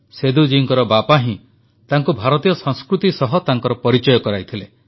ସେଦୁ ଜୀଙ୍କ ବାପା ହିଁ ତାଙ୍କୁ ଭାରତୀୟ ସଂସ୍କୃତି ସହ ତାଙ୍କର ପରିଚୟ କରାଇଥିଲେ